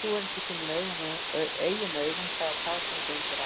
Trúir ekki sínum eigin augum, það er það sem gengur að honum